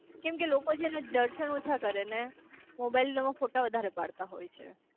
કેમ કે લોકો છે ને દર્શન ઓછા કરે ને મોબાલ માં ફોટા વધારે પડતા હોય છે